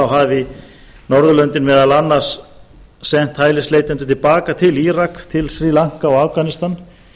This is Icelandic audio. hafi norðurlöndin meðal annars sent hælisleitendur til baka til írak til sri lanka og afganistan